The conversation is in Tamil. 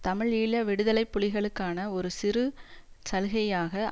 தமிழீழ விடுதலை புலிகளுக்கான ஒரு சிறு சலுகையாக